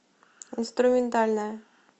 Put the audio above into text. инструментальная